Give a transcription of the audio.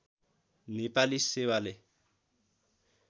नेपाली सेवाले